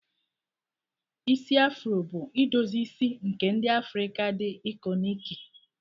Isi afuro bụ idozi isi nke ndi Afrika dị ikọniki.